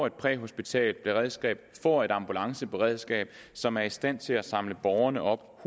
et præhospitalt beredskab får et ambulanceberedskab som er i stand til hurtigere at samle borgerne op